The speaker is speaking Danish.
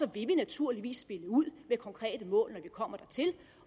vi naturligvis spille ud med konkrete mål når vi kommer dertil